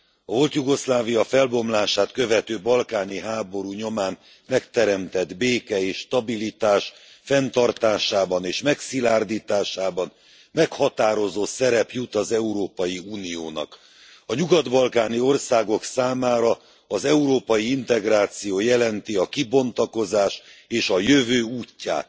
A volt Jugoszlávia felbomlását követő balkáni háború nyomán megteremtett béke és stabilitás fenntartásában és megszilárdításában meghatározó szerep jut az Európai Uniónak. A nyugat balkáni országok számára az európai integráció jelenti a kibontakozás és a jövő útját.